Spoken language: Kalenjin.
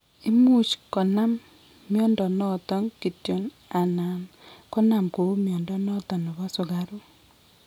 Imuch konam mnyondo noton kityon anan konam kou mnyondo noton nebo sukaruk